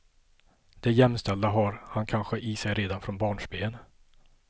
Det jämställda har han kanske i sig redan från barnsben.